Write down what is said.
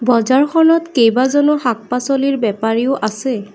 বজাৰখনত কেইবাজনো শাক-পাছলিৰ বেপাৰীও আছে।